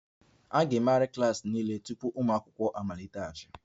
A ga-emegharị klas niile tupu ụmụ akwụkwọ amaliteghachi